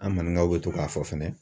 An mangaw bɛ to k'a fɔ fɛnɛ.